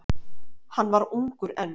Hann var ungur enn.